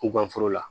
U ka foro la